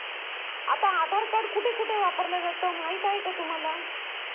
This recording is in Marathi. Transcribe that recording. आता आधार कार्ड कुठे कुठे वापरल्या जातो माहिती आहे का तुम्हाला?